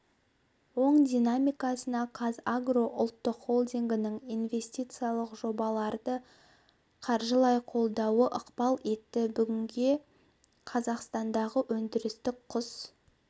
оң динамикасына қазагро ұлттық холдингінің инвестициялық жобаларды қаржылай қолдауы ықпал етті бүгінде қазақстандағы өндірістік құс